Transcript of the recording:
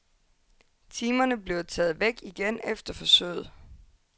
Timerne bliver taget væk igen efter forsøget.